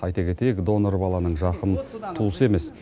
айта кетейік донор баланың жақын туысы емес